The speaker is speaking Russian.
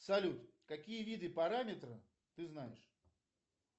салют какие виды параметра ты знаешь